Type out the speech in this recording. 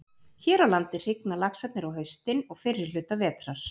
Hér á landi hrygna laxarnir á haustin og fyrri hluta vetrar.